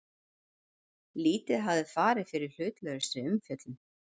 Lítið hafi farið fyrir hlutlausri umfjöllun